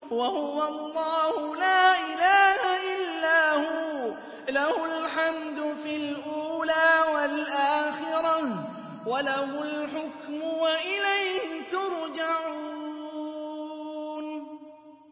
وَهُوَ اللَّهُ لَا إِلَٰهَ إِلَّا هُوَ ۖ لَهُ الْحَمْدُ فِي الْأُولَىٰ وَالْآخِرَةِ ۖ وَلَهُ الْحُكْمُ وَإِلَيْهِ تُرْجَعُونَ